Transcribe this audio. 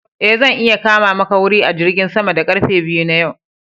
E, zan iya kama maka wuri a jirgin sama da karfe biyu yau.